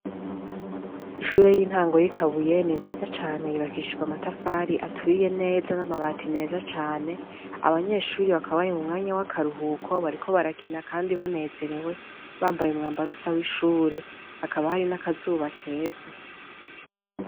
Ishure y'intango y'ikabuyeni nziza cane yibakishijwe amatafari aturiye neza n'amabati meza cane abanyeshuri bakab ari mu mwanya w'akaruhuko bariko barakina, kandi banezerewe bambaye umwamba arusa w'ishure akabari n'akazuba keza.